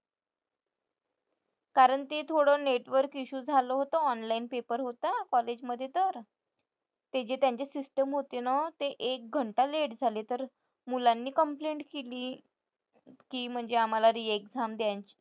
कारण ते थोडं network issue झालं होतं online paper होता college मध्ये तर. ते जे त्यांची system होती ना ते एक घंटा late झाले तर मुलांनी complaint केली. की म्हणजे आम्हाला re-exam